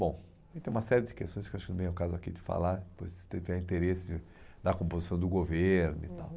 Bom, e tem uma série de questões que acho que não vem ao caso aqui de falar, depois se tiver interesse na composição do governo e tal. Uhum